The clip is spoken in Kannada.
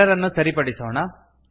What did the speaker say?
ಎರರ್ ಅನ್ನು ಸರಿಪಡಿಸೋಣ